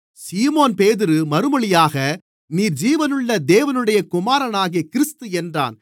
சீமோன்பேதுரு மறுமொழியாக நீர் ஜீவனுள்ள தேவனுடைய குமாரனாகிய கிறிஸ்து என்றான்